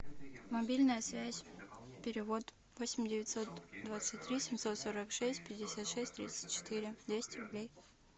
мобильная связь перевод восемь девятьсот двадцать три семьсот сорок шесть пятьдесят шесть тридцать четыре двести рублей